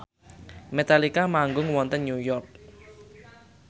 Metallica manggung wonten New York